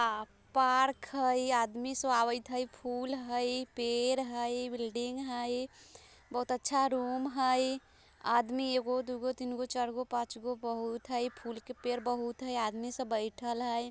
यह पार्क हईआदमी सुव्ययत हईफूल हईपेड़ हईबिल्डिंग हई बहुत अच्छा रुम हईआदमी एकगो दोगो तीनगो चारगो पाँचगो बहुत हईफूल का पेड़ बहुत हईआदमी सब बैठाल हई।